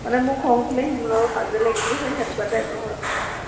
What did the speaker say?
মানে মোৰ খং উঠিলে সি মোৰ লগত কাজিয়া লাগিব হে সেনেকুৱা type নহয় মানে আমাৰ